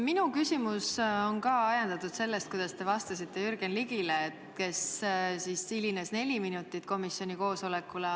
Minu küsimus on ka ajendatud sellest, kuidas te vastasite Jürgen Ligile, kes neli minutit komisjoni koosolekule hilines.